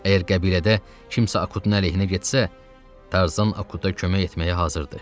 Əgər qəbilədə kimsə Akutun əleyhinə getsə, Tarzan Akuta kömək etməyə hazırdır.